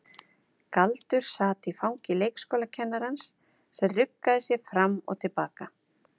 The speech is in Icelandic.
Galdur sat í fangi leikskólakennarans sem ruggaði sér fram og til baka.